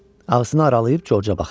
Ağzını aralayıb Corca baxırdı.